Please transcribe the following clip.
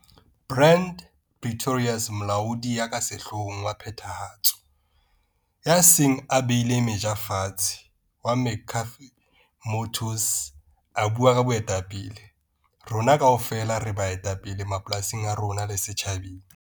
Brand Pretorius molaodi ya ka sehloohong wa phethahatso, ya seng a beile meja fatshe, wa McCarthy Motors, a bua ka 'Boetapele'. Rona kaofela re baetapele mapolasing a rona le setjhabeng.